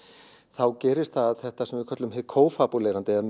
þá gerist þetta sem við köllum hið kófabúlerandi eða